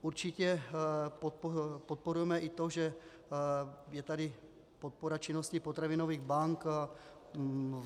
Určitě podporujeme i to, že je tady podpora činnosti potravinových bank.